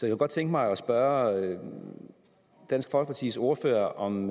jeg godt tænke mig at spørge dansk folkepartis ordfører om